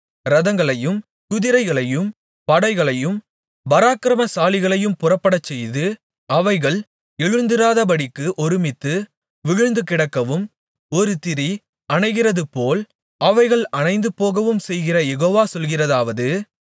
இரதங்களையும் குதிரைகளையும் படைகளையும் பராக்கிரமசாலிகளையும் புறப்படச்செய்து அவைகள் எழுந்திராதபடிக்கு ஒருமித்து விழுந்துகிடக்கவும் ஒரு திரி அணைகிறதுபோல் அவைகள் அணைந்துபோகவும்செய்கிற யெகோவா சொல்கிறதாவது